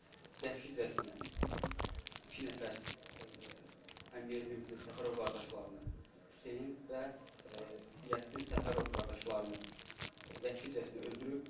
Vəhşicəsinə iki nəfər həmyerlimizin Səfərov qardaşlarını, Hüseyn və Ziyəddin Səfərov qardaşlarını vəhşicəsinə öldürüb.